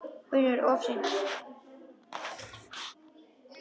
UNNUR: Of seint!